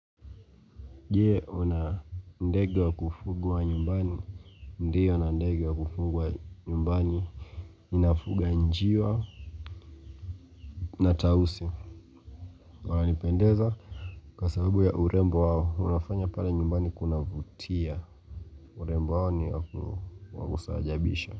Je huna ndege wa kufuga wa nyumbani Ndio nina ndegu wa kufuga wa nyumbani Inafuga njiwa na tausi wananipendeza Kwa sababu ya urembo wao, unafanya pale nyumbani kunavutia urembo wao ni wakustaajabisha.